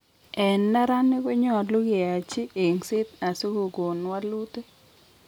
En neranik konyolu kyachi engset asikogon walutik